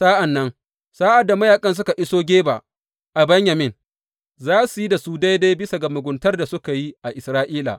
Sa’an nan, sa’ad da mayaƙan suka iso Geba a Benyamin, za su yi da su daidai bisa ga muguntar da suka yi a Isra’ila.